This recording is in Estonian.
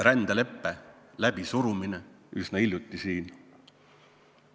Rändeleppe läbisurumine üsna hiljuti siin.